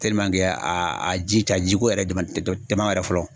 Tɛliman ke aa a ji ja jiko yɛrɛ dama dama yɛrɛ fɔlɔ